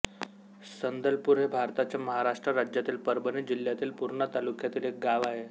संदलपूर हे भारताच्या महाराष्ट्र राज्यातील परभणी जिल्ह्यातील पूर्णा तालुक्यातील एक गाव आहे